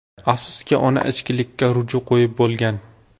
Afsuski, ona ichkilikka ruju qo‘yib bo‘lgan.